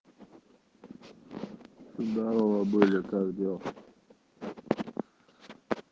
здорова были как дела